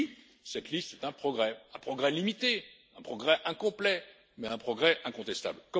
Oui, cette liste est un progrès, un progrès limité, un progrès incomplet, mais un progrès incontestable.